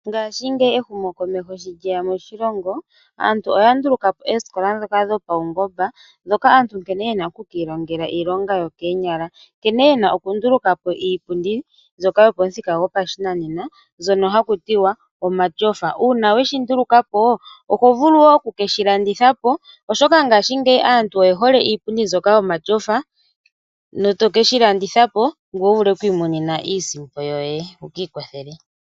Ngaashingeyi ehumo komeho shi lyeya moshilongo aantu oya ndulukapo oosikola dhopawungomba dhoka aantu yena oku kiilongela iilonga yokoonyala, nkene yena okundulukapo iipundi mbyoka yopamuthika gopashinanena mbyoka hakutiwa omatyofa. Uuna weshindulukapo oho vulu wo okukeshi landithapo oshoka ngaashingeyi aantu oyehole iipundi mbyoka yomatyofa, etokeshi lamdithapo wumone iisimpo yoye ngoye wiikwathele.